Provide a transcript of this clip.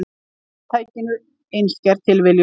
Fyrirtækinu, einskær tilviljun.